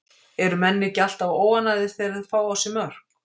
Eru menn ekki alltaf óánægðir þegar þeir fá á sig mörk?